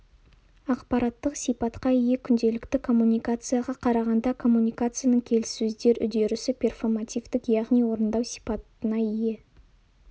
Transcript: ақпараттық сипатқа ие күнделікті коммуникацияға қарағанда коммуникацияның келіссөздер үдерісі перфомативтік яғни орындау сипатына ие